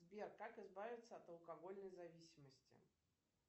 сбер как избавиться от алкогольной зависимости